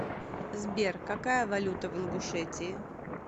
сбер какая валюта в ингушетии